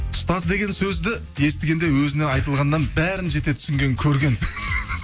ұстаз деген сөзді естігенде өзіне айтылғаннан бәрін жете түсінген көрген